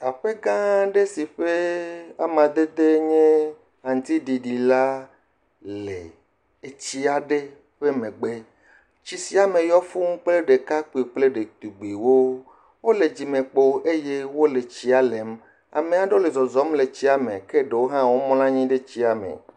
Aƒegãa aɖe si ƒe amadedee nye aŋutiɖiɖi la le etsia ɖe ƒe megbe. Etsi sia me yɔ fũu kple ɖekakpui kple ɖetugbuiwo. Wole dzimekpo eye wole tsia lem. Ame aɖewo le zɔzɔm le tsia me ke ɖewo mlɔ anyi ɖe tsia me.